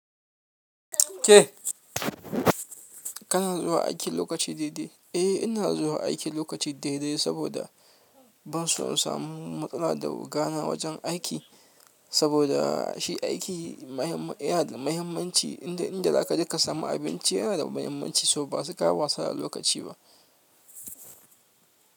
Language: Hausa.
Ke kana zuwa aiki lokaci daidai? Eh, ina zuwa aiki lokaci daidai saboda ban so in samu matsala da oga na wajen aiki. Saboda shi aiki ya na da muhimmanci, inda za ka je ka samu abinci yana da muhimmanci, so ba sai ka yi wasa da lokaci ba.